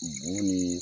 Bo ni